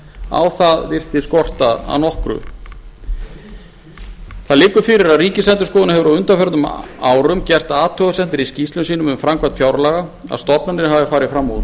á það virtist skorta að nokkru það liggur fyrir að ríkisendurskoðun hefur á undanförnum árum gert athugasemdir í skýrslum sínum við framkvæmd fjárlaga að stofnanir hafi farið fram